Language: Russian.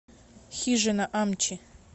хижина амчи